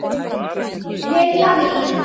LILLA MÍN!